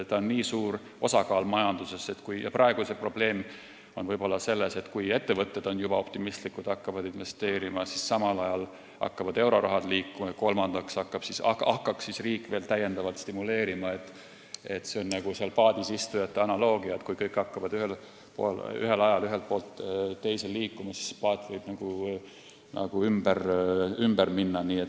Praegu võib probleem olla selles, et kui ettevõtted on juba optimistlikud ja hakkavad investeerima, siis samal ajal hakkab euroraha liikuma ja kui kolmandaks hakkaks riik veel majandust stimuleerima, siis tekiks seal paadis istujate analoogia – kõik hakkavad ühel ajal ühelt poolt teisele poole liikuma ja paat võib ümber minna.